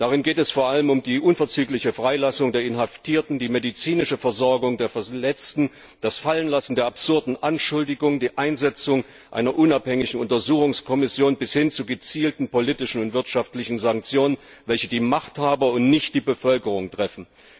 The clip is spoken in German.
Darin geht es vor allem um die unverzügliche Freilassung der Inhaftierten, die medizinische Versorgung der Verletzten, das Fallenlassen der absurden Anschuldigungen und die Einsetzung einer unabhängigen Untersuchungskommission bis hin zu gezielten politischen und wirtschaftlichen Sanktionen, welche die Machthaber und nicht die Bevölkerung treffen.